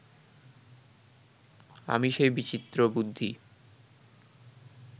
আমি সেই বিচিত্রবুদ্ধি